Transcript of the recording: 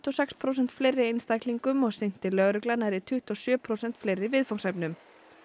og sex prósent fleiri einstaklingum og sinnti lögregla nærri tuttugu og sjö prósent fleiri viðfangsefnum